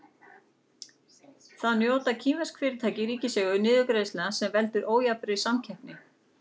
Þá njóta kínversk fyrirtæki í ríkiseigu niðurgreiðslna sem veldur ójafnri samkeppni.